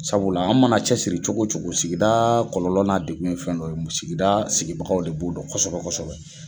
Sabula an mana cɛsiri cogo o cogo sigida kɔlɔlɔ n'a degun fɛn dɔ ye, sigida sigibagaw de b'o dɔn kɔsɛbɛ kɔsɛbɛ.